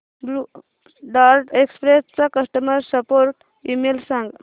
blue Dart Express चा customer support email सांग